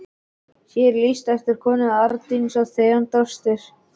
Hér er lýst eftir konu, Arndísi Theódórsdóttur.